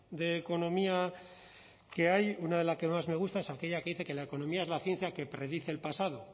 de economía que hay una de las que más me gusta es aquella que dice que la economía es la ciencia que predice el pasado